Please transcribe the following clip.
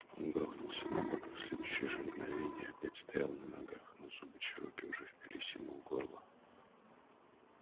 он грохнулся на бок и в следующее же мгновение опять стоял на ногах но зубы чероки уже впились ему в горло